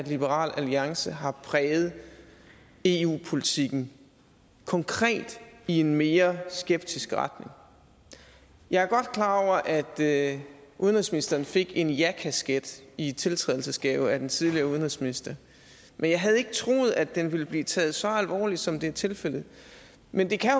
liberal alliance har præget eu politikken konkret i en mere skeptisk retning jeg er godt klar over at at udenrigsministeren fik en ja kasket i tiltrædelsesgave af den tidligere udenrigsminister men jeg havde ikke troet at den ville blive taget så alvorligt som det er tilfældet men det kan